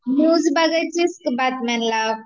news बघायचिस का बातम्या लावून